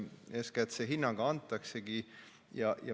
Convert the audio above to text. Eeskätt antaksegi see hinnang.